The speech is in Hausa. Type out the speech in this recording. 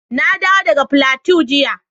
Na dawo daga Plateau jiya